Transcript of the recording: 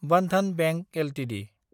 Bandhan bank Ltd